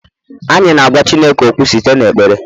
anyị na-agwa Chineke okwu site n'ekpere